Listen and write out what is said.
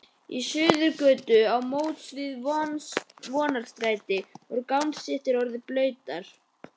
Í Suðurgötu á móts við Vonarstræti voru gangstéttir orðnar blautar.